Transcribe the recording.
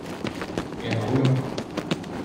Eno uro?